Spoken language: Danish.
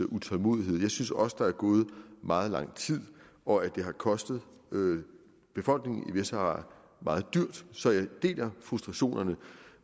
utålmodighed jeg synes også der er gået meget lang tid og at det har kostet befolkningen i vestsahara meget dyrt så jeg deler frustrationerne